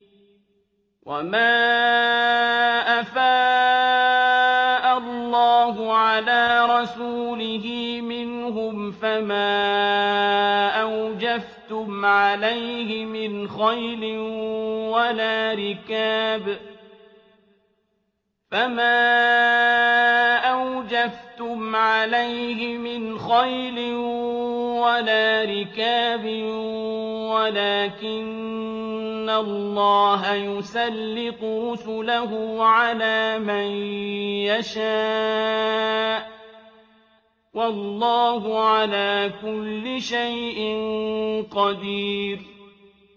وَمَا أَفَاءَ اللَّهُ عَلَىٰ رَسُولِهِ مِنْهُمْ فَمَا أَوْجَفْتُمْ عَلَيْهِ مِنْ خَيْلٍ وَلَا رِكَابٍ وَلَٰكِنَّ اللَّهَ يُسَلِّطُ رُسُلَهُ عَلَىٰ مَن يَشَاءُ ۚ وَاللَّهُ عَلَىٰ كُلِّ شَيْءٍ قَدِيرٌ